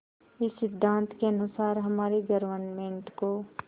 इस सिद्धांत के अनुसार हमारी गवर्नमेंट को